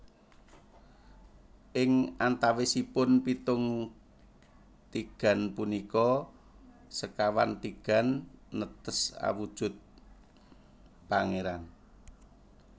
Ing antawisipun pitung tigan punika sekawan tigan netes awujud pangéran